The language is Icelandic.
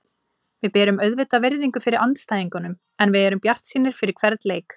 Við berum auðvitað virðingu fyrir andstæðingunum en við erum bjartsýnir fyrir hvern leik.